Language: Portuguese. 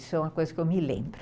Isso é uma coisa que eu me lembro.